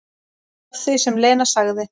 Að því sem Lena sagði.